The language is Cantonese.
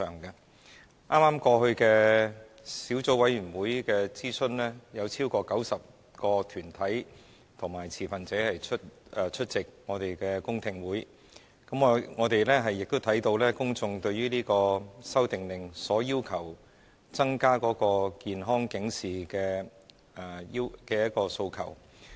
在剛過去的小組委員會諮詢中，有超過90個團體及持份者出席我們的公聽會，我們亦看到公眾對這項《修訂令》所要求增加健康警示的各種訴求。